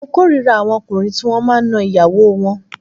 Mo k'órira àwọn ọkùnrin tí wọ́n máa ń na ìyàwó wọn